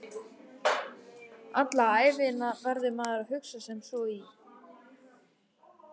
Alla ævina verður maður að hugsa sem svo: Í